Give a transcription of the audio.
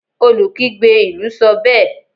olukigbe ilú sọ bẹẹ